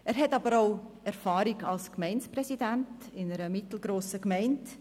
Er hat aber auch Erfahrung als Gemeindepräsident einer mittelgrossen Gemeinde.